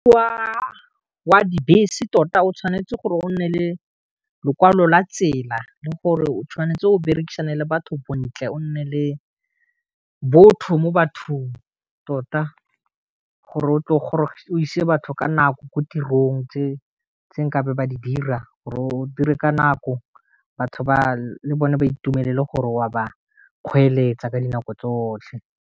Wa dibese tota o tshwanetse gore o nne le lekwalo la tsela le gore o tshwanetse o berekisana le batho bontle o nne le botho mo bathong tota, gore o tle o ise batho ka nako ko tirong tse nkabe ba di dira gore o dire ka nako batho ba le bone ba itumelele gore wa ba kgweetsa ka dinako tsotlhe.